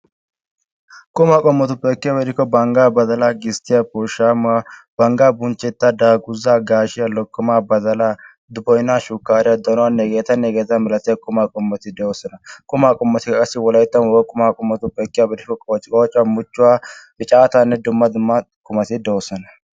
qumaa qommotuppe ekkiyaaba gidikko bangga, badalaa, gisttiyaa, pooshshamuwa, banggaa bunchcetaa, daaguza, gaashshiya, lokkomaa, badalaa, shukkariyaa, donuwanne hegetanne hegeeta milatiyaa qumaa qommoti de'oosona. qumaa qommotikka qassi wolayttan wogaa qumaa qommotuppe ekkiyaaba gidikko qoocciqoocuwaa, muchuwaa, picaatanne dumma dumma qumati de'oosona.